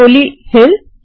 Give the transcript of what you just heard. Koli hills